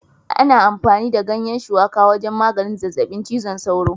Ana amfani da ganyen Shuwaka wajen maganin zazzabin cizon sauro